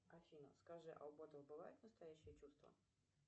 афина скажи а у ботов бывают настоящие чувства